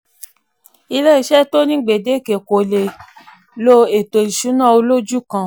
iléeṣẹ́ tó ní gbedeke kò lè lo ètò ìṣúná olójú kan.